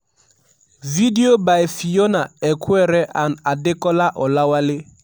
video by fiona equere and adekola olawale